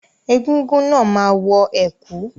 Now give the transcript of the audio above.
Egúngún náà máa wọ ẹ̀kú.